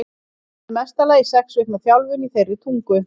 Hann hafði í mesta lagi sex vikna þjálfun í þeirri tungu.